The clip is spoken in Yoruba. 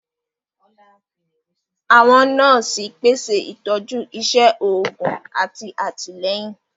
Àwọn nọọsi pèsè itọju iṣé òògùn àti àtìlẹ́yìn.